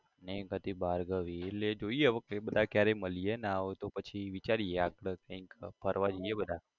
ને એક હતી ભાર્ગવી એટલે જોઇએ હવે ફેર બધા ક્યારે મળીએ ના હોય તો પછી વિચારીએ આપડે કઈક ફરવા જઇયે બધા